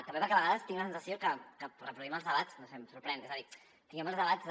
també perquè a vegades tinc la sensació que reproduïm els debats no sé em sorprèn és a dir tinguem els debats de